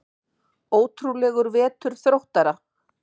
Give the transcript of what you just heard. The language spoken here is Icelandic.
Ótrúlegur vetur Þróttara